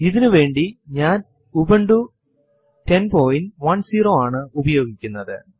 ഇതിന്റെ പ്രധാന ഉദ്ദേശ്യം Linux ൽ ജോലി ചെയ്യാൻ ഒരു നല്ല തുടക്കം നിങ്ങൾക്കു നൽകുക എന്നതാണ്